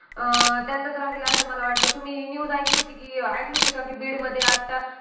अं त्यांचाच राहील असं मला वाटतं. तुम्ही news ऐकली होती कि~ ऐकली होती का कि बीडमध्ये आता